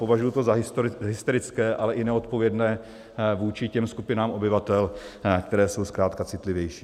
Považuji to za hysterické, ale i neodpovědné vůči těm skupinám obyvatel, které jsou zkrátka citlivější.